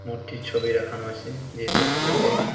মূর্তি ছবি রাখানো আছে এই দোকানটা তে।